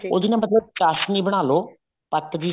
ਉਹਦੀ ਨਾ ਮਤਲਬ ਚਾਸਣੀ ਬਣਾਲੋ ਪੱਕਦੀ